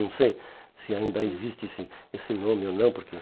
Não sei se ainda existe esse esse nome ou não, porque